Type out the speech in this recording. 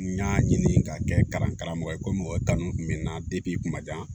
N y'a ɲini ka kɛ kalan karamɔgɔ ye ko mɔgɔ kanu kun bɛ n na n kun ma diya